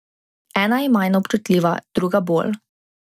Ena je manj občutljiva, druga bolj.